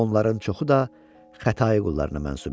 Onların çoxu da Xətai qullarına mənsub idi.